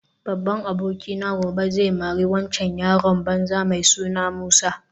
Babban abokina gobe zai mari waccan yaron banza mai suna Musa